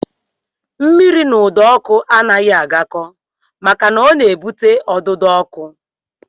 Mmiri na ụdọọkụ anaghị agakọ maka na ọ na-ebute ọdụdọọkụ